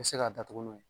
U bɛ se k'a datugu n'o ye